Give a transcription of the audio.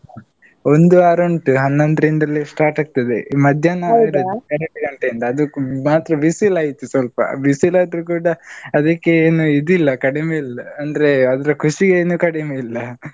ಒಂದು ವಾರ ಉಂಟು, ಹನ್ನೊಂದ್ರಿಂದಲೇ start ಆಗ್ತದೆ. ಮಧ್ಯಾಹ್ನ ಎರ್ಡ್ ಗಂಟೆಯಿಂದ ಅದು ಮಾತ್ರ ಬಿಸಿಲ್ ಆಯ್ತು ಸ್ವಲ್ಪ ಬಿಸಿಲ್ ಆದ್ರೂ ಕೂಡ ಅದಿಕ್ಕೇನು ಇದ್ ಇಲ್ಲಾ, ಕಡಿಮೆ ಇಲ್ಲ. ಅಂದ್ರೆ, ಅದ್ರ ಖುಷಿ ಏನು ಕಡಿಮೆ ಇಲ್ಲ.